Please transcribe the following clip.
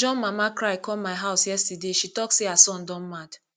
john mama cry come my house yesterday she talk say her son don mad